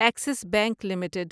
Axis bank limited